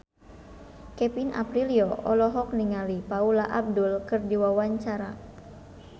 Kevin Aprilio olohok ningali Paula Abdul keur diwawancara